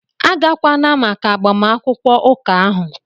Agakwala maka agbamakwụkwọ ụka ahụ!